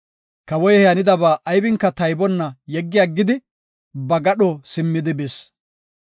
Kawoy he hanidaba aybinka taybonna yeggi aggidi ba gadho simmidi bis.